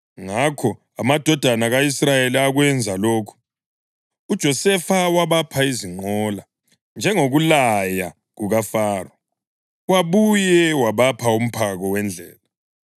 Ngakho amadodana ka-Israyeli akwenza lokhu. UJosefa wabapha izinqola, njengokulaya kukaFaro, wabuye wabapha umphako wendlela.